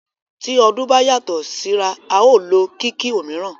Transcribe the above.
Ti ọdún bá yàtọ síra, a o lo kìkì òmíràn.